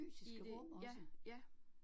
I det ja, ja